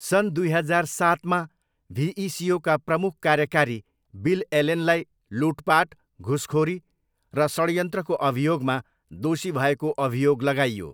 सन् दुई हजार सातमा भिइसिओका प्रमुख कार्यकारी बिल एलेनलाई लुटपाट, घुसखोरी र षड्यन्त्रको अभियोगमा दोषी भएको अभियोग लगाइयो।